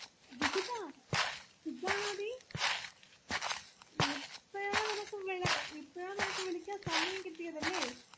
വിജിതാ സുഗാനോടി ഇപ്പഴാണ് നിനക് വിള ഇപ്പഴാ നിനക് സമയംകിട്ടിയതല്ലെ